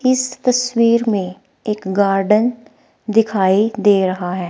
इस तस्वीर में एक गार्डन दिखाई दे रहा है।